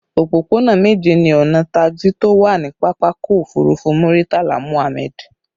Òpópónà méje ni ọnà taxi tó wà ní pápákọ̀ òfurufú Muritala Muhammad